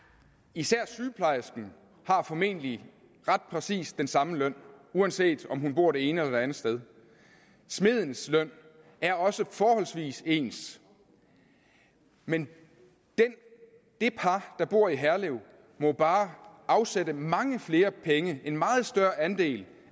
især sygeplejerskerne har formentlig ret præcist den samme løn uanset om de bor det ene eller det andet sted smedenes løn er også forholdsvis ens men det par der bor i herlev må bare afsætte mange flere penge en meget større andel